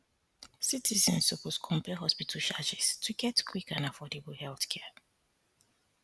citizens suppose compare hospital charges to get quick and affordable healthcare